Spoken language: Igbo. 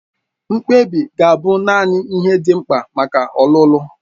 Mkpebi ga-abụ naanị ihe dị mkpa maka ọlụlụ.